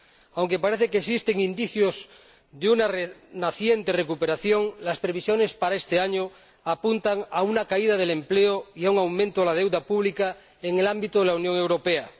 Aunque parece que existen indicios de una naciente recuperación, las previsiones para este año apuntan a una caída del empleo y a un aumento de la deuda pública en el ámbito de la Unión Europea.